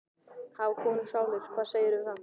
Hafa konur sálir, hvað segirðu um það?